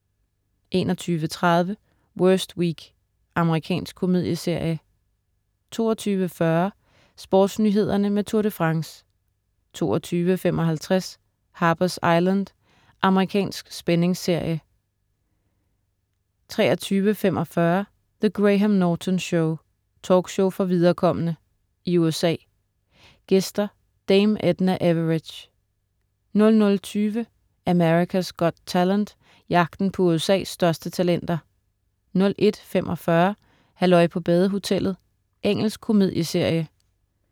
21.30 Worst Week. Amerikansk komedieserie 22.40 SportsNyhederne med Tour de France 22.55 Harper's Island. Amerikansk spændingsserie 23.45 The Graham Norton Show. Talkshow for viderekomne. I USA. Gæster: Dame Edna Everage 00.20 America's Got Talent. Jagten på USA's største talenter 01.45 Halløj på badehotellet. Engelsk komedieserie